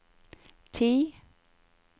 ti